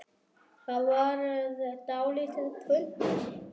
Það varð dálítið þunnt.